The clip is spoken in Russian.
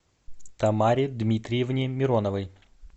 тамаре дмитриевне мироновой